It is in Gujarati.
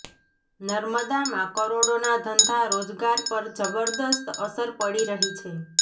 નર્મદામાં કરોડોના ધંધા રોજગાર પર જબરદસ્ત અસર પડી રહી છે